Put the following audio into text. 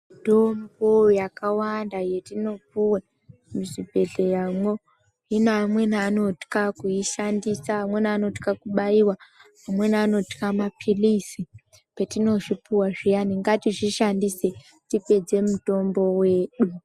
Mitombo yakawanda yetinopuwe muzvibhehleyamwo hino amweni anotya kuishandisa, amweni anotya kubaiwa, amweni anotya maphilizi petinozvipuwa payani ngatishandise tipedze mutombo wedu.